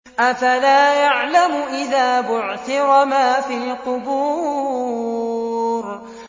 ۞ أَفَلَا يَعْلَمُ إِذَا بُعْثِرَ مَا فِي الْقُبُورِ